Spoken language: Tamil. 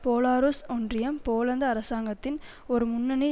போலாருஸ் ஒன்றியம் போலந்து அரசாங்கத்தின் ஒரு முன்னணி